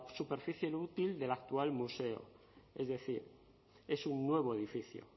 superficie útil del actual museo es decir es un nuevo edificio